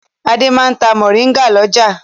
Adé máa ń ta mòríngà lọ́jà.